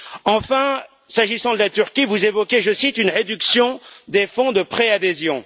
Enfin, s'agissant de la Turquie, vous évoquez, je cite, une réduction des fonds de préadhésion.